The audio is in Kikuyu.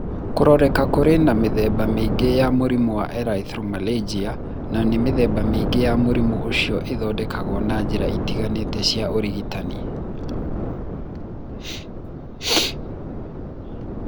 Kũroneka kũrĩ na mĩthemba mĩingĩ ya mũrimũ wa erythromelalgia na mĩthemba mĩingĩ ya mũrimũ ũcio nĩ ĩthondekaguo na njĩra itiganĩte cia ũrigitani